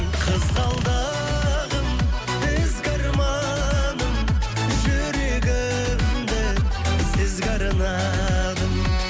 қызғалдағым ізгі арманым жүрегімді сізге арнадым